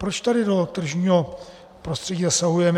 Proč tady do tržního prostředí zasahujeme?